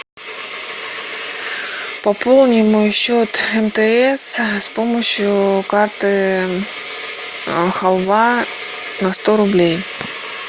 пополни мой счет мтс с помощью карты халва на сто рублей